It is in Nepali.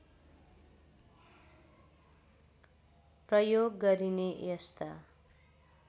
प्रयोग गरिने यस्ता